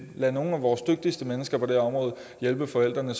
lod nogle af vores dygtigste mennesker på det område hjælpe forældrene